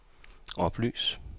oplys